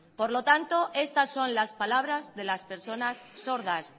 por tanto estas son las palabras de las personas sordas